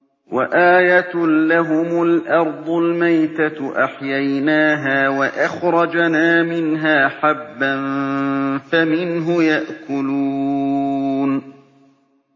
وَآيَةٌ لَّهُمُ الْأَرْضُ الْمَيْتَةُ أَحْيَيْنَاهَا وَأَخْرَجْنَا مِنْهَا حَبًّا فَمِنْهُ يَأْكُلُونَ